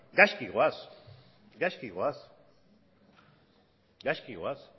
gaizki goaz gaizki goaz